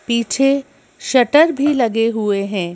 पीछे शटर भी लगे हुए हैं।